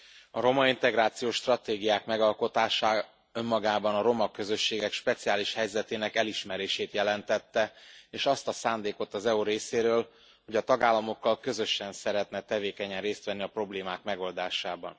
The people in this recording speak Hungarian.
Elnök Úr! A romaintegrációs stratégiák megalkotása önmagában a roma közösségek speciális helyzetének elismerését jelentette, és azt a szándékot az EU részéről, hogy a tagállamokkal közösen szeretne tevékenyen részt venni a problémák megoldásában.